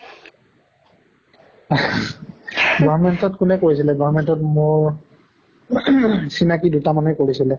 government ত কোনে কৰিছিলে government ত মোৰ ing চিনাকী দুটা মানে কৰিছিলে।